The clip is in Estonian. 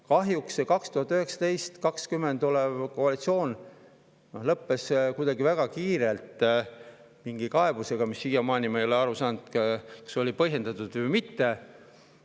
Kahjuks 2019.–2020. aasta koalitsioon lõppes väga kiirelt mingi kaebusega, mille puhul ma ei ole siiamaani aru saanud, kas see oli põhjendatud või mitte.